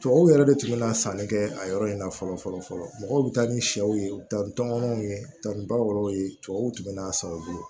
Tubabuw yɛrɛ de tun bɛ na sanni kɛ a yɔrɔ in na fɔlɔ fɔlɔ fɔlɔ mɔgɔw bɛ taa ni sɛw ye u bɛ taa ni tɔmɔnɔw ye u bɛ taa ni bawrow ye tubabuw tun bɛ n'a sɔrɔ u bolo